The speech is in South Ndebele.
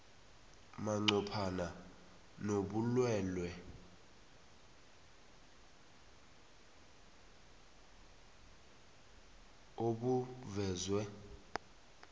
manqophana nobulwelwele obuvezwe